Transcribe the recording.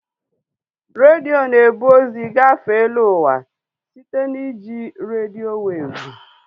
Redio na-ebu ozi gafee eluụwa site na iji redio weevụ